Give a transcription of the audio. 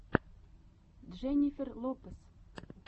дженнифер лопес